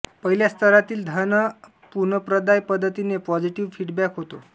पहिल्या स्तरातील धन पुनप्रदाय पद्धतीने पॉझिटिव्ह फीडबॅक होतो